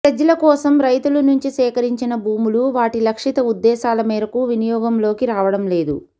సెజ్ల కోసం రైతుల నుంచి సేకరించిన భూములు వాటి లక్షిత ఉద్దేశాల మేరకు వినియోగంలోకి రావడం లేదు